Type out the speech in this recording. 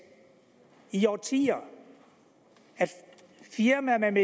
i årtier og at firmaer med en